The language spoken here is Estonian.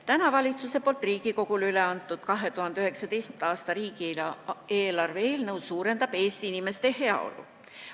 Täna valitsuse poolt Riigikogule üle antud 2019. aasta riigieelarve eelnõu eesmärk on suurendada Eesti inimeste heaolu.